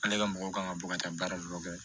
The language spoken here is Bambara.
Ale ka mɔgɔw kan ka bɔ ka taa baara dɔ kɛ